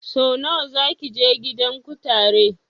Sau nawa zaki je gidan kutare?